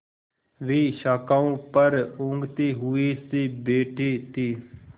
वे शाखाओं पर ऊँघते हुए से बैठे थे